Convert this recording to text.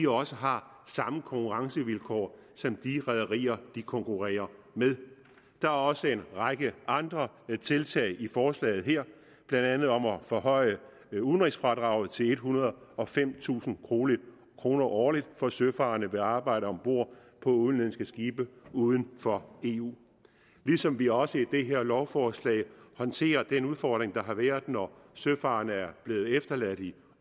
også har samme konkurrencevilkår som de rederier de konkurrerer med der er også en række andre tiltag i forslaget her blandt andet om at forhøje udenrigsfradraget til ethundrede og femtusind kroner kroner årligt for søfarende der arbejder om bord på udenlandske skibe uden for eu ligesom vi også i det her lovforslag håndterer den udfordring der har været når søfarende er blevet efterladt i